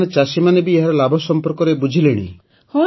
ତାମାନେ ଚାଷୀମାନେ ବି ଏହାର ଲାଭ ସମ୍ପର୍କରେ ବୁଝିଲେଣି